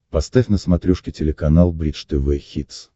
поставь на смотрешке телеканал бридж тв хитс